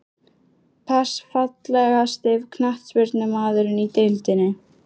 Pass Fallegasti knattspyrnumaðurinn í deildinni?